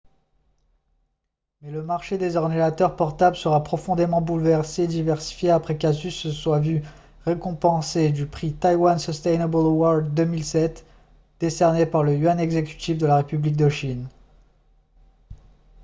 mais le marché des ordinateurs portables sera profondément bouleversé et diversifié après qu'asus se soit vu récompenser du prix taiwan sustainable award 2007 décerné par le yuan exécutif de la république de chine